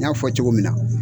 N y'a fɔ cogo min na.